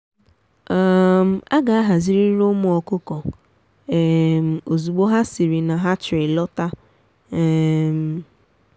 um a ga ahazirịrị ụmụ ọkụkọ um ozugbo ha siri na hatchery lọta um